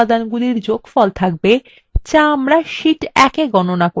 যা আমরা sheet ১ we গণনা করেছি